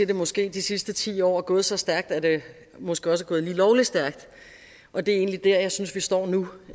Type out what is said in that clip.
det måske i de sidste ti år er gået så stærkt at det måske også er gået lige lovlig stærkt og det er egentlig der jeg synes vi står nu